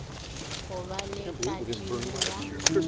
go ba le kadimo ya